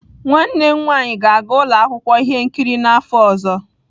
Nwanne m nwanyị ga-aga ụlọ akwụkwọ ihe nkiri n'afọ ọzọ.